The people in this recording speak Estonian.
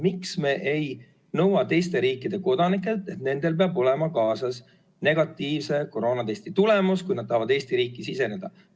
Miks me ei nõua teiste riikide kodanikelt, et nendel peab olema kaasas negatiivse koroonatesti tõend, kui nad tahavad Eesti riiki siseneda?